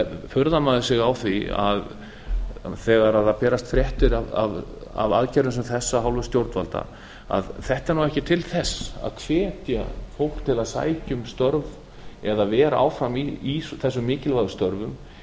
furðar maður sig á því að þegar berast fréttir af aðgerðum sem þessum af hálfu stjórnvalda að þetta er ekki til þess að hvetja fólk til að sækja um störf eða vera áfram í þessum mikilvægu störfum